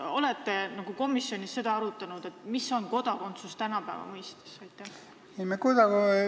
Kas te olete seda komisjonis arutanud, mis on kodakondsus tänapäeva mõistes?